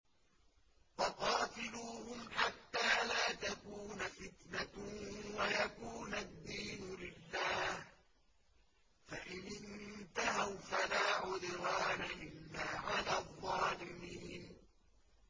وَقَاتِلُوهُمْ حَتَّىٰ لَا تَكُونَ فِتْنَةٌ وَيَكُونَ الدِّينُ لِلَّهِ ۖ فَإِنِ انتَهَوْا فَلَا عُدْوَانَ إِلَّا عَلَى الظَّالِمِينَ